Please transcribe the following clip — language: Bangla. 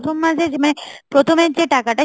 প্রথম মাসে মানে প্রথমের যে টাকাটা